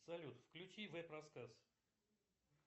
салют включи веб рассказ